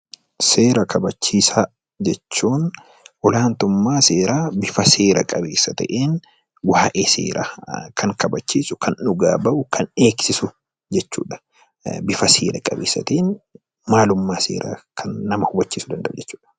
Seera kabachiisaa jechuun akkaataa biyya keenyaattii karaa seera qabeessa ta'een, waa'ee seeraa kan kabachiisu, kan dhugaa bahu, kan eegsisu jechuudha. Bifa seera qabeessa ta'een maalummaa seeraa kan nama hubachiisuu danda'u jechuudha.